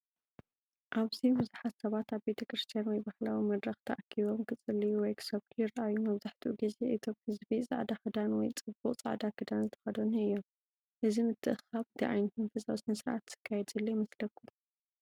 ኣብዚ ብዙሓት ሰባት ኣብ ቤተ ክርስቲያን ወይ ባህላዊ መድረኽ ተኣኪቦም ክጽልዩ ወይ ክሰብኩ ይረኣዩ። መብዛሕትኡ ግዜ እቶም ህዝቢ ጻዕዳ ክዳን ወይ ጽቡቕ ጻዕዳ ክዳን ዝተከደኑ እዮም። እዚ ምትእኽኻብ እንታይ ዓይነት መንፈሳዊ ስነ-ስርዓት ዝካየድ ዘሎ ይመስለኩም?